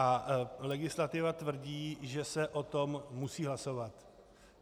A legislativa tvrdí, že se o tom musí hlasovat.